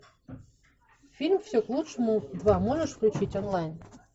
фильм все к лучшему два можешь включить онлайн